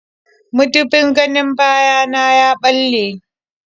Mudubin ganin baya na ya ɓalle.